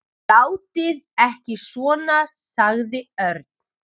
Látið ekki svona sagði Örn.